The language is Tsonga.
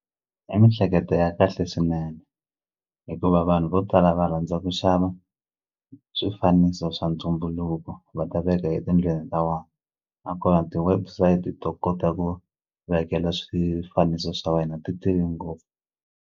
I mihleketo ya kahle swinene hikuva vanhu vo tala va rhandza ku xava swifaniso swa ntumbuluko va ta veka etindlwini ta vona nakona ti website to kota ku vekela swifaniso swa wena ti tele ngopfu.